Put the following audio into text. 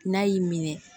N'a y'i minɛ